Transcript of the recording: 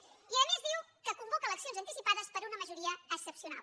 i a més diu que convoca eleccions anticipades per una majoria excepcional